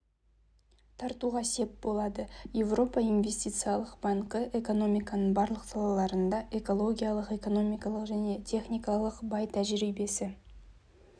тартуға сеп болады еуропа инвестициялық банкі экономиканың барлық салаларында экологиялық экономикалық және техникалық бай тәжірибесі